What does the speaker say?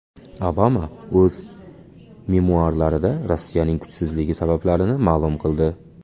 Obama o‘z memuarlarida Rossiyaning kuchsizligi sabablarini ma’lum qildi.